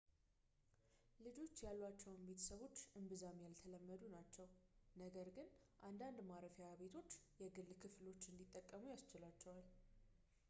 ልጆች ያሏቸው ቤተሰቦች እምብዛም ያልተለመዱ ናቸው ነገር ግን አንዳንድ ማረፊያ ቤቶች የግል ክፍሎች እንዲጠቀሙ ያስችላቸዋል